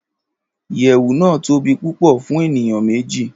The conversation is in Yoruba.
iyewu nàá tobi pupo fun eniyan meji